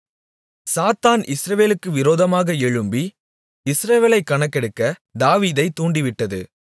சாத்தான் இஸ்ரவேலுக்கு விரோதமாக எழும்பி இஸ்ரவேலைக் கணக்கெடுக்க தாவீதைத் தூண்டிவிட்டது